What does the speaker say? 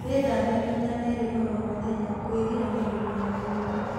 Wĩthambe maĩ ta merĩ oro mũthenya kwĩgiranĩrĩrĩa na mĩrimũ